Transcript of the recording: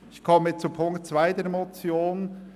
Ich komme zu Ziffer 2 der Motion.